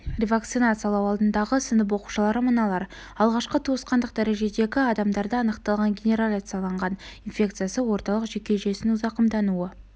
ревакцинациялау алдындағы сынып оқушылары мыналар алғашқы туысқандық дәрежедегі адамдарда анықталған генерализацияланған инфекциясы орталық жүйке жүйесінің зақымдануы